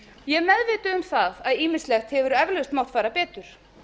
ég er meðvituð um það að ýmislegt hefur eflaust mátt fara betur